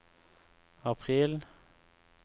april